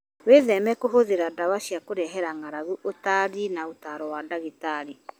Wĩtheme kũhũthĩra ndawa cia kũrehera ng'aragu ũtarĩ na ũtaaro wa ndagĩtarĩ.